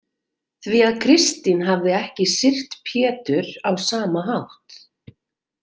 Því að Kristín hafði ekki syrgt Pétur á sama hátt.